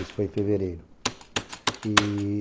Isso foi em fevereiro.